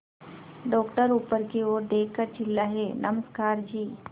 doctor ऊपर की ओर देखकर चिल्लाए नमस्कार जी